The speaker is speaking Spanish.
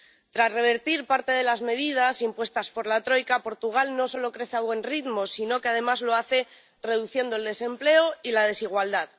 Tras revertir parte de las medidas impuestas por la troika, Portugal no solo crece a buen ritmo, sino que, además, lo hace reduciendo el desempleo y la desigualdad.